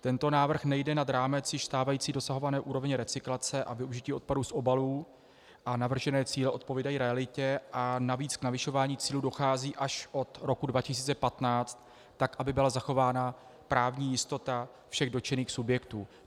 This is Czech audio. Tento návrh nejde nad rámec již stávající dosahované úrovně recyklace a využití odpadů z obalů a navržené cíle odpovídají realitě a navíc k navyšování cílů dochází až od roku 2015, tak aby byla zachována právní jistota všech dotčených subjektů.